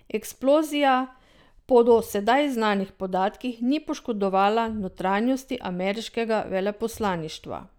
Eksplozija po do sedaj znanih podatkih ni poškodovala notranjosti ameriškega veleposlaništva.